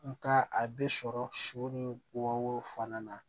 Nga a bɛ sɔrɔ sɔ ni wɔɔrɔ fana na